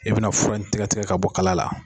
E bɛna fura in tigɛtigɛ ka bɔ kala la.